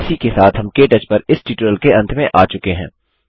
इसी के साथ हम के टच पर इस ट्यूटोरियल के अंत में आ चुके हैं